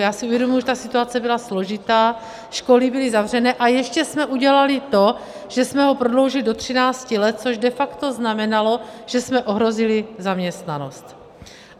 Já si uvědomuji, že ta situace byla složitá, školy byly zavřené, a ještě jsme udělali to, že jsme ho prodloužili do 13 let, což de facto znamenalo, že jsme ohrozili zaměstnanost.